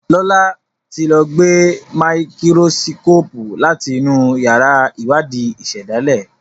Lọla tí ló gbé Máíkírósíkópù láti inú yàrá Iwadi ìsèdálè.